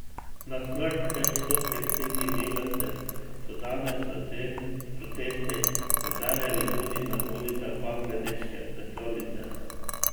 Na smrt več sto tekstilnih delavcev so danes s protesti opozarjali tudi na ulicah bangladeške prestolnice.